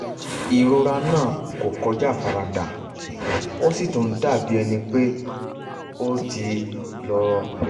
ìrora náà kò kọjá àfaradà ó sì tún ń dàbí ẹni pé ó tún ti rọlẹ̀